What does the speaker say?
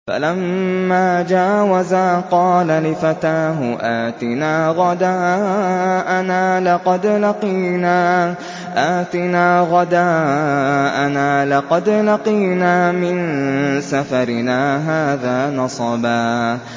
فَلَمَّا جَاوَزَا قَالَ لِفَتَاهُ آتِنَا غَدَاءَنَا لَقَدْ لَقِينَا مِن سَفَرِنَا هَٰذَا نَصَبًا